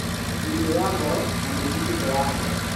Mũrimũ wa ngoro, na mũthitũko wa ngoro